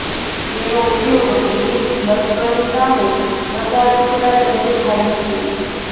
તેનો ઉપયોગ બ્રિટીશ લશ્કરી સામે પ્રચાર ટુકડા તરીકે થાય છે